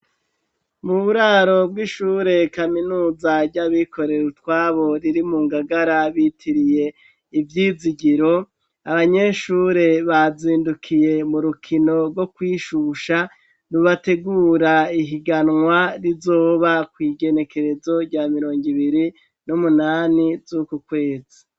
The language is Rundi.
Mu buraro bw'ishure kaminuza ry'abikorer' utwabo riri mu Ngagara bitiriye Ivyizigiro abanyeshure bazindukiye mu rukino rwo kwishusha rubategura ihiganwa rizoba kw' igenekerezo rya mirongi ibiri n'umunani z'uku kwezi